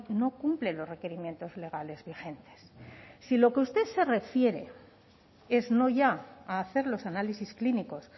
no cumplen los requerimientos legales vigentes si a lo que usted se refiere es no ya a hacer los análisis clínicos